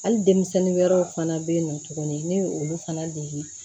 Hali denmisɛnnin wɛrɛw fana bɛ yen nɔ tuguni ne ye olu fana dege